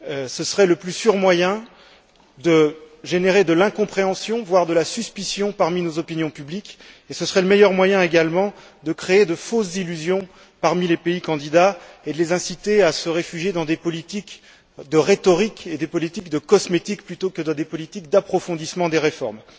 Ce serait le moyen le plus sûr de générer de l'incompréhension, voire de la suspicion, parmi nos opinions publiques, et ce serait le meilleur moyen également de créer de fausses illusions parmi les pays candidats et de les inciter à se réfugier dans des politiques de rhétorique et des politiques de cosmétique plutôt que dans des politiques d'approfondissement des réformes.